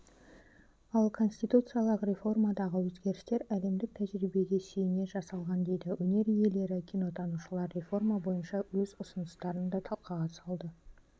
ал конституциялық реформадағы өзгерістер әлемдік тәжірибеге сүйене жасалған дейді өнер иелері кинотанушылар реформа бойынша өз ұсыныстарын да талқыға салды